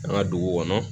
An ka dugu kɔnɔ